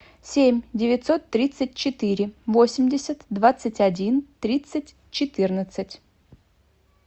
семь девятьсот тридцать четыре восемьдесят двадцать один тридцать четырнадцать